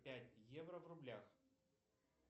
пять евро в рублях